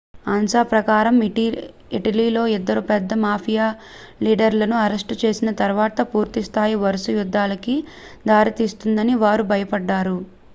"ansa ప్రకారం "ఇటలీలో ఇద్దరు పెద్ద మాఫియా లీడర్‌లను అరెస్ట్ చేసిన తర్వాత పూర్తి స్థాయి వరుస యుద్ధాలకి దారి తీస్తుందని వారు భయపడ్డారు.